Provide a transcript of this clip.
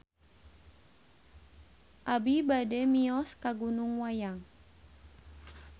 Abi bade mios ka Gunung Wayang